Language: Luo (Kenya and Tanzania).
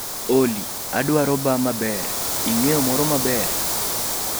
Olly, adwaro baa maber ing'eyo moro maber